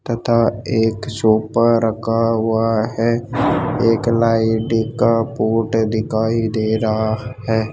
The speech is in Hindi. तथा एक सुपर रखा हुआ है एक लाइडी का पॉट दिखाई दे रहा है।